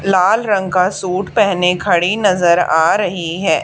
लाल रंग का सूट पहने खड़ी नजर आ रही है।